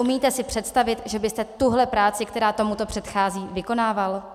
Umíte si představit, že byste tuhle práci, která tomuto předchází, vykonával?